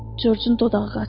Corcun dodağı qaçdı.